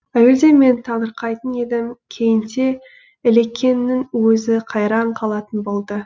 әуелде мен таңырқайтын едім кейінде ілекеңнің өзі қайран қалатын болды